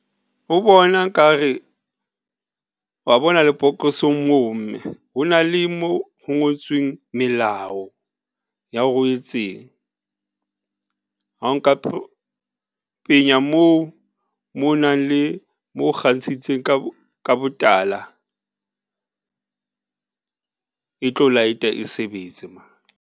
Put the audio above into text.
Ho bona nkare, wa bona lebokosong moo mme, ho na le mo ho ngotsweng melao ya hore o etseng ha o nka penya moo mo nang le mo kgantshitse ka botala . E tlo light-a e sebetse .